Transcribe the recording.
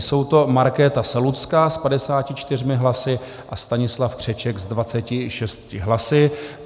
Jsou to Markéta Selucká s 54 hlasy a Stanislav Křeček s 26 hlasy.